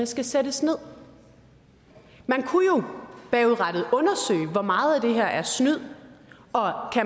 skal sættes nederst man kunne jo bagudrettet undersøge hvor meget af det der er snyd og om